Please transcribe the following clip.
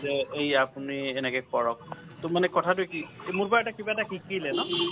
যে আপুনি এই এনেকে কৰক ত মানে কথাটো কি মোৰ পাই কিবা এটা শিকিলে ন